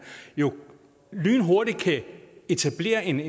jo lynhurtigt kan etablere en